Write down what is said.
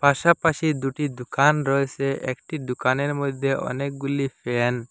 পাশাপাশি দুটি দুকান রয়েসে একটি দুকানের মধ্যে অনেকগুলি ফ্যান ।